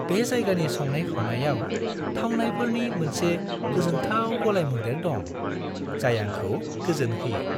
बे जायगानि संनाय-खावनायाव थावनायफोरनि मोनसे गोजोनथाव गलायमोन्देर दं, जाय आंखौ गोजोनहोयो।